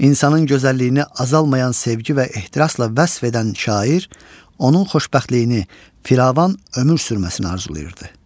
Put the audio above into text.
İnsanın gözəlliyini azalmayan sevgi və ehtirasla vəsf edən şair, onun xoşbəxtliyini fıravan ömür sürməsini arzulayırdı.